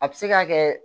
A bɛ se ka kɛ